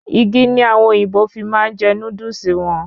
Igi ni àwọn òyìnbó fi máa n je Núdúsì won